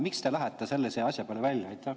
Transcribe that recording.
Miks te lähete sellise asja peale välja?